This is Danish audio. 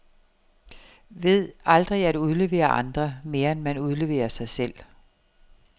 Ved aldrig at udlevere andre, mere end man udleverer sig selv.